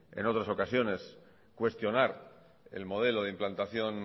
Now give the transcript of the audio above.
en otras ocasiones cuestionar el modelo de implantación